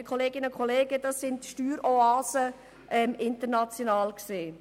Liebe Kolleginnen und Kollegen, dies sind international betrachtet Steueroasen.